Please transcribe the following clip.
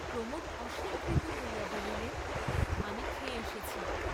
প্রমোদ অস্বীকৃত হইয়া বলিলেন আমি খেয়ে এসেছি।